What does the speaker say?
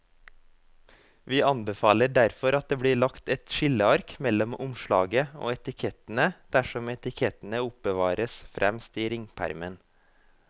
Vi anbefaler derfor at det blir lagt et skilleark mellom omslaget og etikettene dersom etikettene oppbevares fremst i ringpermen.